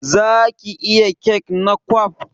Zaki iya kek na kwaf?